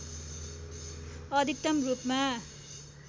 अधिकतम रूपमा